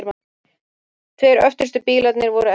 Tveir öftustu bílarnir voru eldri.